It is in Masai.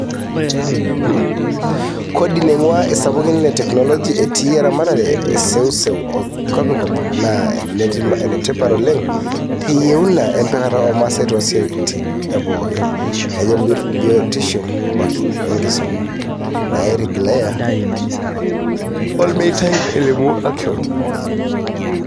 "Kodi naingua isapukin le teknoloji etii eramatare e seuseu e kopikop naa enetipat oleng teyieuna empikata o masaa toosiatin e pooki, naajio biotisho wenkisuma, naatigilayia olmeitai," elimu Action.